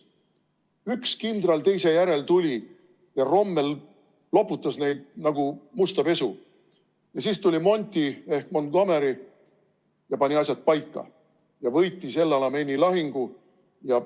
Tuli üks kindral teise järel, tuli Rommel ja loputas neid nagu musta pesu ja siis tuli Monty ehk Montgomery ja pani asjad paika ning võitis El Alameini lahingu.